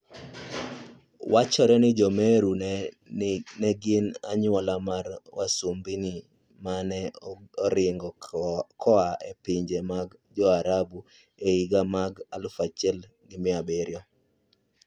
Wachore ni Jo-Meru ne gin anyuola mar wasumbini ma ne oringo koa e pinje mag Jo-Arabu e higini mag 1700.